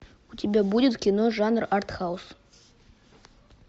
у тебя будет кино жанр артхаус